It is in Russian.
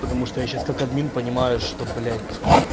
потому что я сейчас как админ понимаю что блять